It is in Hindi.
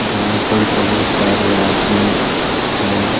यहां पर बहुत सारे आदमी हैं।